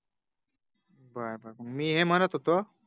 बार मी हे म्हणत होतो